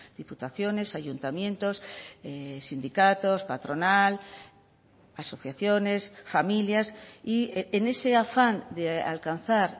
diputaciones ayuntamientos sindicatos patronal asociaciones familias y en ese afán de alcanzar